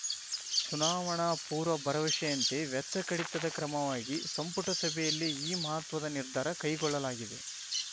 ಚುನಾವಣಾ ಪೂರ್ವ ಭರವಸೆಯಂತೆ ವೆಚ್ಚ ಕಡಿತದ ಕ್ರಮವಾಗಿ ಸಂಪುಟ ಸಭೆಯಲ್ಲಿ ಈ ಮಹತ್ವದ ನಿರ್ಧಾರ ಕೈಗೊಳ್ಳಲಾಗಿದೆ